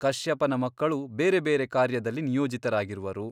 ಕಶ್ಯಪನ ಮಕ್ಕಳು ಬೇರೆ ಬೇರೆ ಕಾರ್ಯದಲ್ಲಿ ನಿಯೋಜಿತರಾಗಿರುವರು.